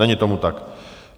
Není tomu tak.